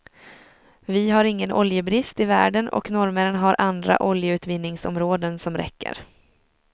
Vi har ingen oljebrist i världen och norrmännen har andra oljeutvinningsområden som räcker.